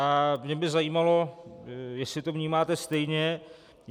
A mě by zajímalo, jestli to vnímáte stejně.